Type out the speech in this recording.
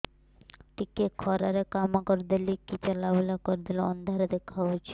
ଟିକେ ଖରା ରେ କାମ କରିଦେଲେ କି ଚଲବୁଲା କରିଦେଲେ ଅନ୍ଧାର ଦେଖା ହଉଚି